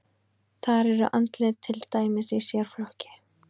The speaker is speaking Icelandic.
Þar eru andlit til dæmis í sérflokki.